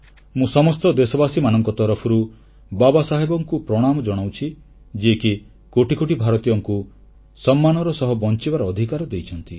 ମୁଁ ସମସ୍ତ ଦେଶବାସୀଙ୍କ ତରଫରୁ ବାବାସାହେବଙ୍କୁ ପ୍ରଣାମ ଜଣାଉଛି ଯିଏକି କୋଟି କୋଟି ଭାରତୀୟଙ୍କୁ ସମ୍ମାନର ସହ ବଂଚିବାର ଅଧିକାର ଦେଇଛନ୍ତି